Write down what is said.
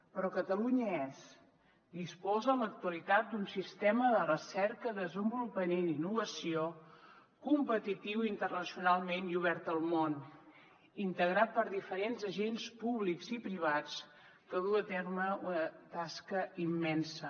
però catalunya disposa en l’actualitat d’un sistema de recerca desenvolupament i innovació competitiu internacionalment i obert al món integrat per diferents agents públics i privats que duu a terme una tasca immensa